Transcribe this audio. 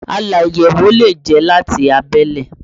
Aláyẹ̀wò lè jẹ́ láti abẹ́lé